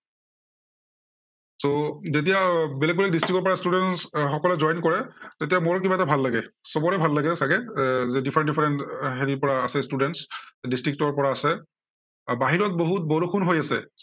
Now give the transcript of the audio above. so যেতিয়া বেলেগ বেলেগ district ৰ পৰা students সকলে join কৰে, তেতিয়া মোৰ কিবা এটা ভাল লাগে। সৱৰে ভাল লাগে চাগে এৰ যে different different হেৰিৰ পৰা আছে students district ৰ পৰা আছে। আহ বাহিৰত বহুত বৰষুণ হৈ আছে।